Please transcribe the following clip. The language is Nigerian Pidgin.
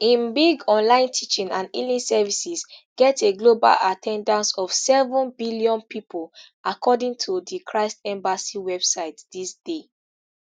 im big online teachings and healing services get a global at ten dance of seven billion pipo according to di christ embassy website dis dey